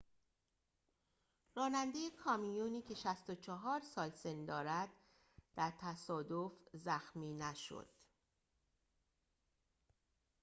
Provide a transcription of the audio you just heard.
راننده کامیونی که ۶۴ سال سن دارد در تصادف زخمی نشد